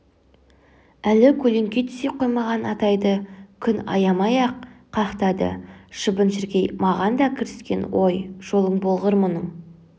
әлі көлеңке түсе қоймаған атайды күн аямай-ақ қақтады шыбын-шіркей маған да кіріскен ой жолың болғыр мұның